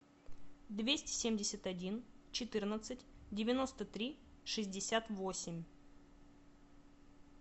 двести семьдесят один четырнадцать девяносто три шестьдесят восемь